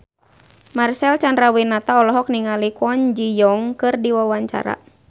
Marcel Chandrawinata olohok ningali Kwon Ji Yong keur diwawancara